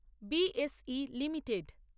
BSE limited